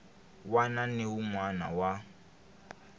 wana na wun wana wa